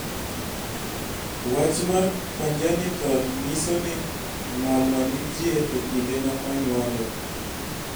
Wach mar "congenital nyiso ni ng'olno nitie e kinde ma onyuole.